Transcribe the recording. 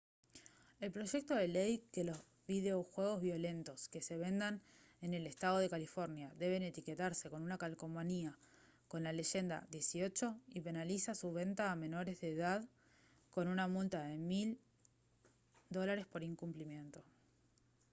el proyecto de ley dispone que los videojuegos violentos que se vendan en el estado de california deben etiquetarse con una calcomanía con la leyenda «18» y penaliza su venta a menores de edad con una multa de $1000 por incumplimiento